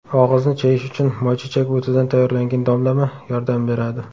Og‘izni chayish uchun moychechak o‘tidan tayyorlangan damlama yordam beradi.